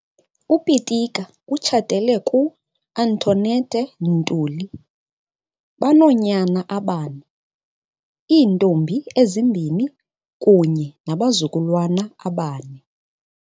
UPitika utshatele ku-Antoinette Ntuli, Banoonyana abane, iintombi ezimbini kunye nabazukulwana abane.